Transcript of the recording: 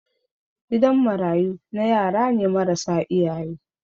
gidan marayu na yarane marasa iyaye